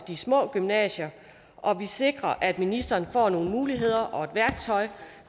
de små gymnasier og vi sikrer at ministeren får nogle muligheder og et værktøj